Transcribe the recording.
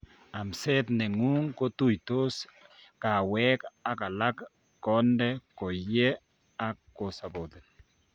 Amseet neng'ung kotuitos kaweek ak alak ,konde koyee ak kosappoten